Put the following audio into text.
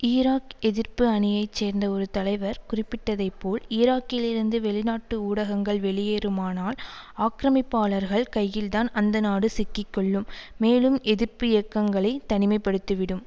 Iraq எதிர்ப்பு அணியை சேர்ந்த ஒரு தலைவர் குறிப்பிட்டதைப்போல் ஈராக்கிலிருந்து வெளிநாட்டு ஊடகங்கள் வெளியேறுமானால் ஆக்கிரமிப்பாளர்கள் கையில்தான் அந்த நாடு சிக்கக்கொள்ளும் மேலும் எதிர்ப்பு இயக்கங்களை தனிமைப்படுத்திவிடும்